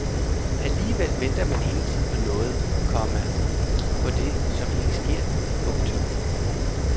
Alligevel venter man hele tiden på noget, komma på det som ikke sker. punktum